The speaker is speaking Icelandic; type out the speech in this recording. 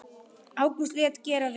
Ágústus lét gera við